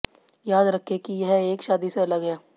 याद रखें कि यह एक शादी से अलग है